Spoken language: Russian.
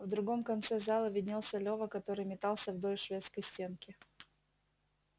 в другом конце зала виднелся лева который метался вдоль шведской стенки